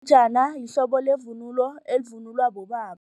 lihlobo levunulo elivunulwa bobaba.